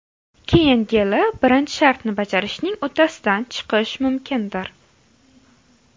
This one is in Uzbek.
Keyingi yili birinchi shartni bajarishning uddasidan chiqish mumkindir.